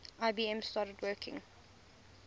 ibm started working